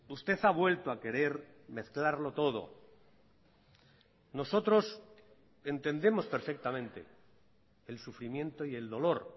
usted ha vuelto a querer mezclarlo todo nosotros entendemos perfectamente el sufrimiento y el dolor